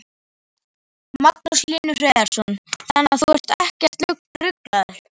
Magnús Hlynur Hreiðarsson: Þannig að þú ert ekkert ruglaður?